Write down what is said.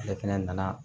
Ale fɛnɛ nana